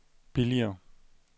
billigere